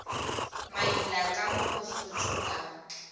maila ka mo bosotho ka